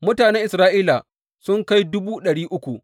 Mutanen Isra’ila sun kai dubu ɗari uku.